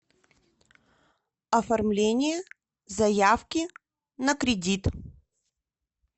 оформление заявки на кредит